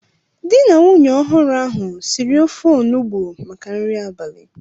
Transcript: Di na nwunye ọhụrụ ahu siri ofe onugbo maka nri abalị